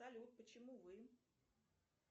салют почему вы